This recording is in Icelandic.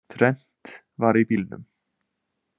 Þrennt var í bílnum